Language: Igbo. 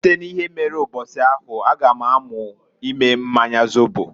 Site n'ihe mere mbosi ahụ a ga m amu ime mmanya zobo.